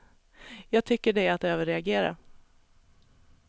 Jag tycker det är att överreagera.